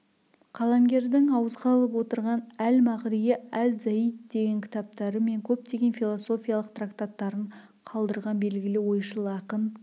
қаламгердің ауызға алып отырған әл-мағриы әз-зайд деген кітаптары мен көптеген философиялық трактаттарын қалдырған белгілі ойшыл ақын